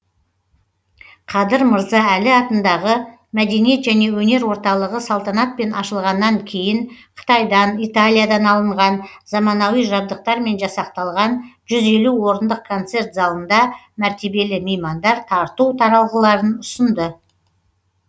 қадыр мырза әлі атындағы мәдениет және өнер орталығы салтанатпен ашылғаннан кейін қытайдан италиядан алынған замауани жабдықтармен жасақталған жүз елу орындық концерт залында мәртебелі меймандар тарту таралғыларын ұсынды